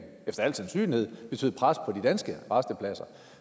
efter al sandsynlighed betyde pres på de danske rastepladser og